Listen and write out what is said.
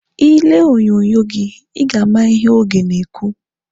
Ị lee onyonyo gị, Ị ga-ama ihe oge na-ekwu.